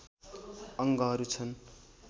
अङ्गहरू छन्